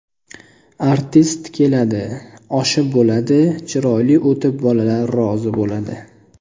Artist keladi, oshi bo‘ladi, chiroyli o‘tib, bolalar rozi bo‘ladi.